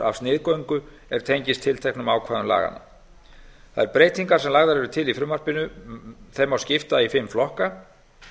af sniðgöngu er tengist tilteknum ákvæðum laganna þeim breytingum sem lagðar eru til í frumvarpinu má skipta í fimm flokka